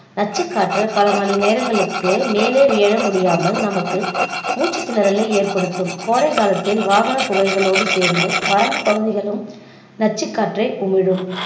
நச்சுக் காற்று பல மணி நேரங்களுக்கு மேலே எழ முடியாமல் நமக்கு மூச்சு திணறலை ஏற்படுத்தும், கோடை காலத்தில வாகன புகைகளோடு சேர்ந்து வறண்ட பகுதிகளும் நச்சுக் காற்றை உமிழும்